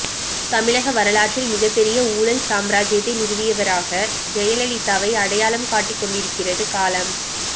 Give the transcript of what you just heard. தமிழக வரலாற்றில் மிகப்பெரிய ஊழல் சாம்ராஜ்யத்தை நிறுவியவராக ஜெயலலிதாவை அடையாளம் காட்டிக்கொண்டிருக்கிறது காலம்